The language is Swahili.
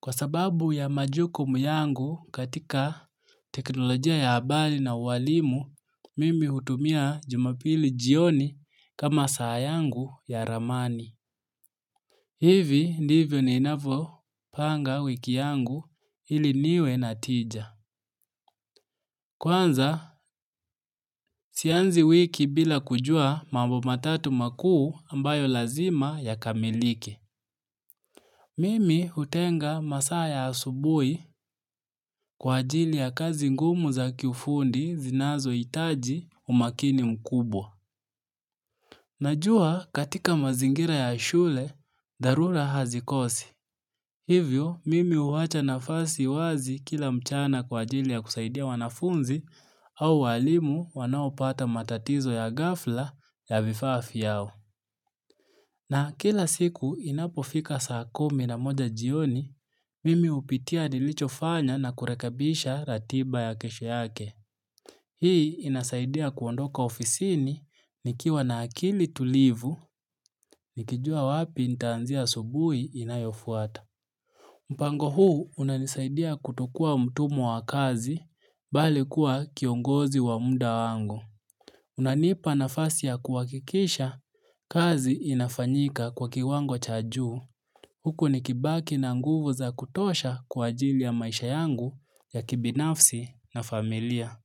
Kwa sababu ya majukumu yangu katika teknolojia ya abali na ualimu, mimi hutumia jumapili jioni kama saa yangu ya ramani. Hivi ndivyo ninavo panga wiki yangu ili niwe na tija. Kwanza, sianzi wiki bila kujua mambo matatu makuu ambayo lazima yakamilike. Mimi utenga masaa ya asubui kwa ajili ya kazi ngumu za kiufundi zinazo itaji umakini mkubwa. Najua katika mazingira ya shule, dharura hazikosi. Hivyo, mimi uwacha nafasi wazi kila mchana kwa ajili ya kusaidia wanafunzi au walimu wanaopata matatizo ya gafla ya vifaa fyao. Na kila siku inapofika saa kumi na moja jioni, mimi upitia nilicho fanya na kurekabisha ratiba ya kesho yake. Hii inasaidia kuondoka ofisini nikiwa na akili tulivu, nikijua wapi nitaanzia asubui inayofuata. Mpango huu unanisaidia kutokua mtumwa wa kazi, bali kuwa kiongozi wa muda wangu. Unanipa nafasi ya kuwakikisha kazi inafanyika kwa kiwango cha juu. Huku nikibaki na nguvu za kutosha kwa ajili ya maisha yangu ya kibinafsi na familia.